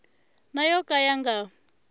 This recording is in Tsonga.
na yo ka ya nga